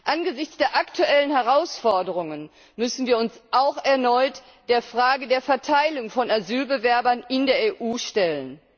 Angesichts der aktuellen Herausforderungen müssen wir uns auch erneut der Frage der Verteilung von Asylbewerbern in der EU stellen.